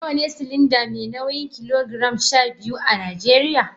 Nawa ne silinda mai nauyin kilogiram 12 a Najeriya?